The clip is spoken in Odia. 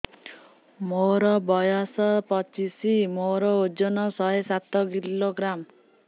ମୋର ବୟସ ପଚିଶି ମୋର ଓଜନ ଶହେ ସାତ କିଲୋଗ୍ରାମ